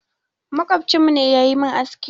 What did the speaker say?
Maƙwabcinmu ne ya yi min aski.